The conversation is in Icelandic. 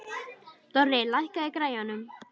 Dorri, lækkaðu í græjunum.